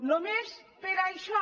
només per això